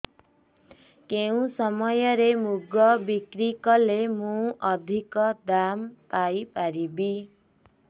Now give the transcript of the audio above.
କେଉଁ ସମୟରେ ମୁଗ ବିକ୍ରି କଲେ ମୁଁ ଅଧିକ ଦାମ୍ ପାଇ ପାରିବି